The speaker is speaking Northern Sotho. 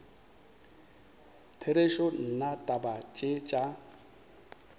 therešo nna taba tše tša